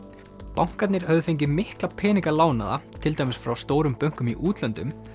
bankarnir höfðu fengið mikla peninga lánaða til dæmis frá stórum bönkum í útlöndum